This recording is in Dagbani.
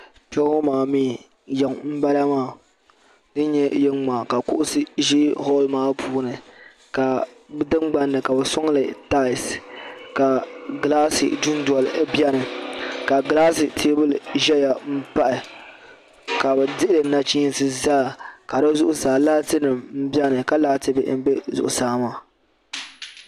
Kpe ŋɔ maa mi yiŋ m bala maa din nye yiŋ maa ka kuɣusi ʒe holl puuni ka di tingban ni ka bɛ sɔŋli talsi ka gilaasi dundoli biɛni ka gilaasi teebuli ʒeya m pahi ka bɛ dihi li nachiinsi zaa ka di zuɣu saa laatinim m biɛni ka laati bihi m be zuɣu saa maa.